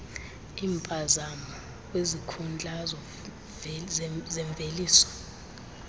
iimpazamo kwizikhundla zemveliso